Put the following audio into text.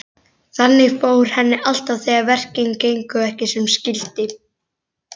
Þannig fór henni alltaf þegar verkin gengu ekki sem skyldi.